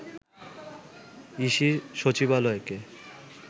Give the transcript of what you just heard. EC সচিবালয়কে